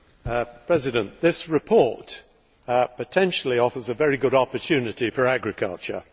Mr President, this report potentially offers a very good opportunity for agriculture.